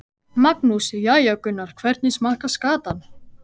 Magnús: Jæja Gunnar, hvernig smakkast skatan?